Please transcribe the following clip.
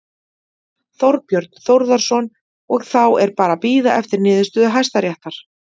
Þorbjörn Þórðarson: Og, þá er bara að bíða eftir niðurstöðu Hæstaréttar?